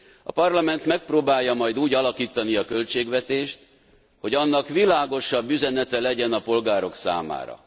A Parlament megpróbálja majd úgy alakítani a költségvetést, hogy annak világosabb üzenete legyen a polgárok számára.